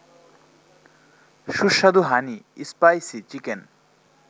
সুস্বাদু হানি-স্পাইসি-চিকেন